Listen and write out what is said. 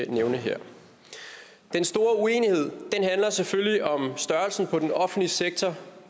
nævne her den store uenighed handler selvfølgelig om størrelsen på den offentlige sektor